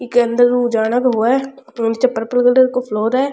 एक्के अंदर उजाला हुआ है को फ्लॉर है।